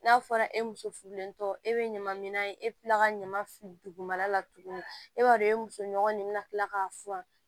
N'a fɔra e muso furulentɔ e bɛ ɲama minan e bɛ tila ka ɲama dugumana la tuguni e b'a dɔn e musoɲɔgɔn nin bɛna kila k'a furan